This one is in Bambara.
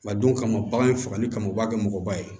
A don kama bagan in fagali kama u b'a kɛ mɔgɔba ye